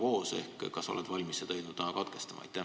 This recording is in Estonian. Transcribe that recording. Kas sa oled valmis seda eelnõu lugemist täna katkestama?